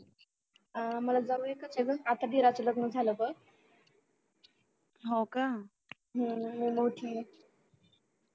अह मला जाव एकाच आहे बघ आता दुरच लग्न झालं बघ मी मोठी आहे